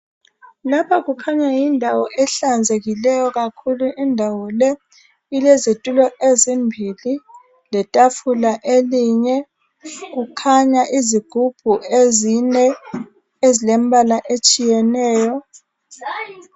Lapha kukhanya yindawo ehlanzekileyo kakhulu indawo le ilezitulo ezimbili letafula elinye kukhanya izigubhu ezine ezilembala etshiyeneyo.